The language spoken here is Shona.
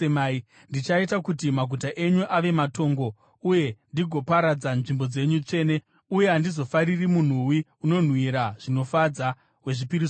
Ndichaita kuti maguta enyu ave matongo uye ndigoparadza nzvimbo dzenyu tsvene, uye handizofariri munhuwi unonhuhwira zvinofadza wezvipiriso zvenyu.